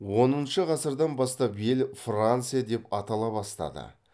оныншы ғасырдан бастап ел франция деп атала бастады